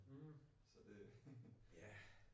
Mh ja